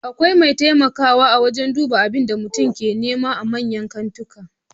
Akwai bamu taimakawa wajan duba abinda mutum ke nema a manyan kantika